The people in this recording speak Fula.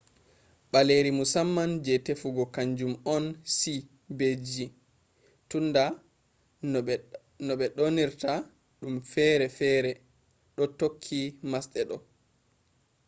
baleri musamman je tefugo kanjum on c be g tunda no be donirta dum fere fere do tokki masde do